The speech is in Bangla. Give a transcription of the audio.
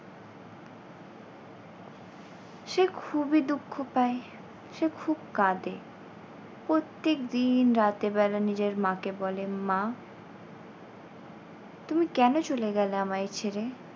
সে খুবই দুঃখ পায় সে খুব কাঁদে। প্রত্যেক দিন রাতের বেলা নিজের মাকে বলে মা তুমি কেন চলে গেলে আমায় ছেড়ে?